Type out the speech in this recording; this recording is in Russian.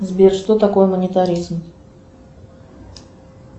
сбер что такое монетаризм